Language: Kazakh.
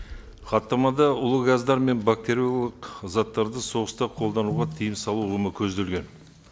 хаттамада улы газдар мен бактериологиялық заттарды соғыста қолдануда тыйым салу ұғымы көзделген